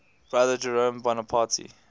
brother jerome bonaparte